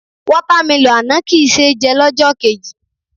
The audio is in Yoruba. Water melon àná kì í ṣé jẹ lọ́jọ́ kejì.